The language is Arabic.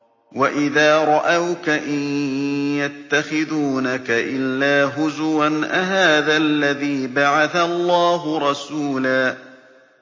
وَإِذَا رَأَوْكَ إِن يَتَّخِذُونَكَ إِلَّا هُزُوًا أَهَٰذَا الَّذِي بَعَثَ اللَّهُ رَسُولًا